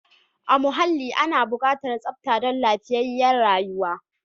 A muhalli ana bukatar tsafta dan lafiyayyar rayuwa.